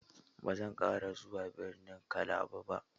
Ba zan ƙara zuwa birnin Kalaba ba.